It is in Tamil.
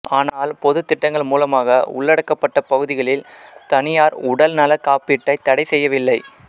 ஆனால் பொதுத்திட்டங்கள் மூலமாக உள்ளடக்கப்பட்ட பகுதிகளில் தனியார் உடல்நலக் காப்பீட்டைத் தடை செய்யவில்லை